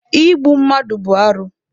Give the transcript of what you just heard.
Igbu mmadụ bụ arụ.